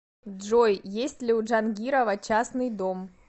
джой есть ли у джангирова частный дом